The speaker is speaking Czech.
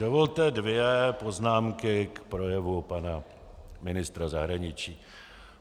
Dovolte dvě poznámky k projevu pana ministra zahraničí.